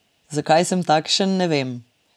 Zakaj sem takšen, ne vem.